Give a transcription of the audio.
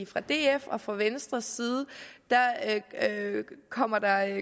fra dfs og fra venstres side kommer der